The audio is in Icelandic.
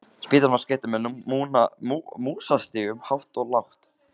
Spítalinn var skreyttur með músastigum hátt og lágt.